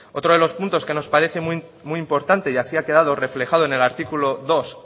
otro de los puntos que nos parece muy importante y así ha quedado reflejado en el artículo dos